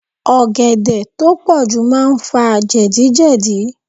Ọ̀gẹ̀dẹ̀ tó pọ̀jù máa fà jẹ̀díjẹ̀dí.